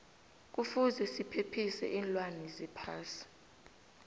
kuvuze sephephisa iinlwana zephasi